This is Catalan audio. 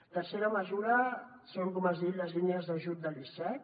la tercera mesura són com has dit les línies d’ajut de l’icec